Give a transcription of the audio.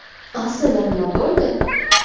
Aslida nima bo‘ldi?